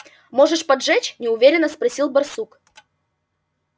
можешь поджечь неуверенно спросил барсук